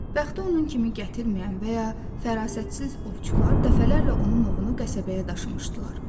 Bəxti onun kimi gətirməyən və ya fərasətsiz ovçular dəfələrlə onun ovunu qənimətbəyə daşımışdılar.